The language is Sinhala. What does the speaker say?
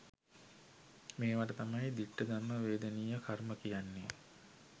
මේවට තමයි දිට්ට ධම්ම වේදනීය කර්ම කියන්නේ.